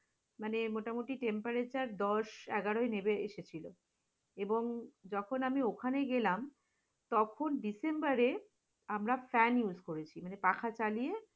মানে মোটামুটি temparater দশ একগারোই লেবে এসেছিল এবং যখন আমি ওখানে গেলাম তখন december এ আমরা fan use করেছি, মানে পাখা চালিয়ে